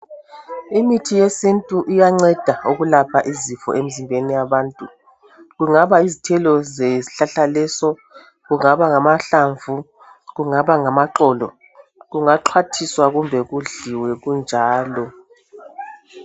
Imithi yesintu iyanceda ukulapha izifo emzimbeni yabantu, kungaba yizithelo zesihlahla leso, kungaba ngamahlamvu, kungaba ngamaxolo, kungaxhwathiswa kumbe kudliwe kunjalo.